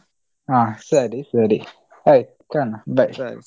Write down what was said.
ಹಾ ಸರಿ ಸರಿ ಆಯ್ತು bye .